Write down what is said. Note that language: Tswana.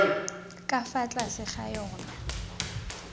ka fa tlase ga yona